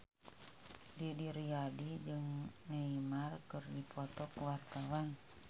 Didi Riyadi jeung Neymar keur dipoto ku wartawan